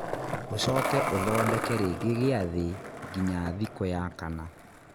ũcoke ũthondeke rĩngĩ gĩathĩ nginya thikũ ya kana